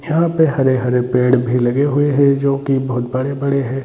यहाँ पे हरे - हरे पेड़ भी लगे हुए है जो की बहुत बड़े बड़े है।